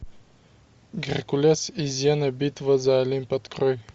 геркулес и зена битва за олимп открой